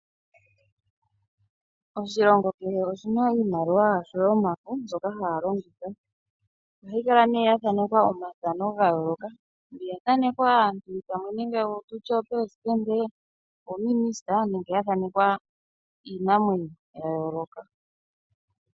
Oshilongo kehe oshina iimaliwa yasho yomafo mbyoka haya longitha, ohayi kala ne yathanekwa omathano gayooloka mbi yathanekwa aantu nenge pamwe tutye oopelesitende, oominisita nenge yathanekwa iinamwenyo yayooloka.